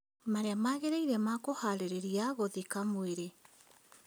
Marĩa magĩrĩire ma kũharĩrĩa gũthika mwĩrĩ